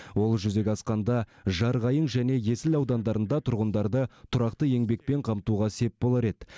ол жүзеге асқанда жарқайың және есіл аудандарында тұрғындарды тұрақты еңбекпен қамтуға сеп болар еді